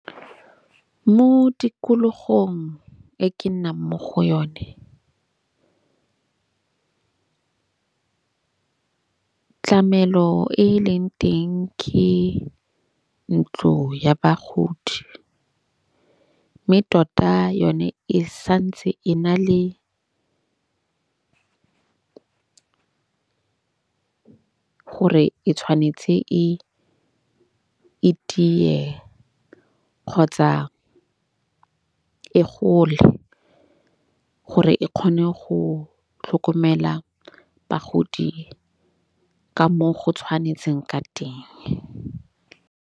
Mo tikologong e ke nnang mo go yone tlamelo e leng teng ke ntlo ya bagodi. Mme tota yone e santse e na le gore e tshwanetse e e tiye kgotsa e gole. Gore e kgone go tlhokomela bagodi ka moo go tshwanetseng ka teng.